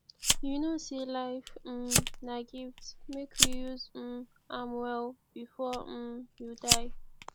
you know sey life um na gift make we use um am well before um you die